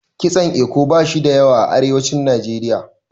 Kitson Eko bashi da yawa a arewacin Najeriya.